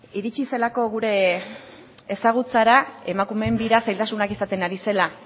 iritsi zelako gure ezagutzara emakumeen bira zailtasunak izaten ari zela